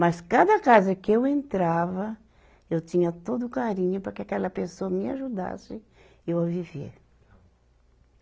Mas cada casa que eu entrava, eu tinha todo o carinho para que aquela pessoa me ajudasse eu viver.